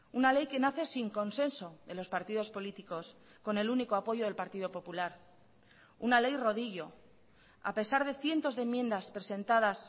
una ley que nace sin consenso de los partidos políticos con el único apoyo del partido popular una ley rodillo a pesar de cientos de enmiendas presentadas